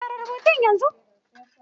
Fara rubutu yanzu!